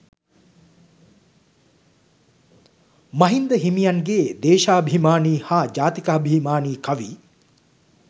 මහින්ද හිමියන්ගේ දේශාභිමානී හා ජාතිකාභිමානී කවි